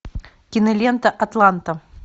кинолента атланта